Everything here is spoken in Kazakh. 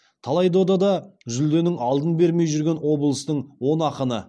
талай дода да жүлденің алдын бермей жүрген облыстың он ақыны